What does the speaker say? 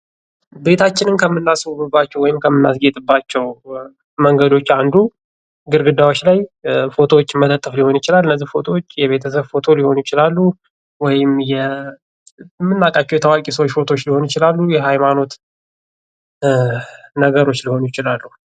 ቤታችንን ከምናስውብባቸው ወይም ከምናስጌጥባቸው መንገዶች አንዱ ግድግዳዎች ላይ ፎቶዎችን መለጠፍ ሊሆን ይችላል። እነዚህ ፎቶዎች የቤተሰብ ፎቶ ሊሆኑ ይችላሉ ወይም የምናውቃቸው የታዋቂ ሰዎች ፎቶዎች ሊሆኑ ይችላሉ የሀይማኖት ነገሮች ሊሆኑ ይችላሉ።